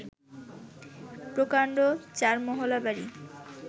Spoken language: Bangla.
প্রকাণ্ড চারমহলা বাড়ি